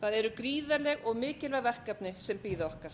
það eru gríðarleg og mikilvæg verkefni sem bíða okkar